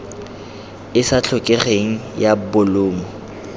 e sa tlhokegeng ya bolumo